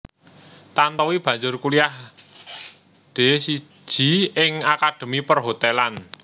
Tantowi banjur kuliah D siji ing akademi Perhotelan